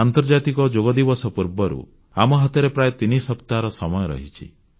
ଆନ୍ତର୍ଜାତିକ ଯୋଗ ଦିବସ ପୂର୍ବରୁ ଆମ ହାତରେ ପ୍ରାୟ ତିନି ସପ୍ତାହର ସମୟ ରହିଛି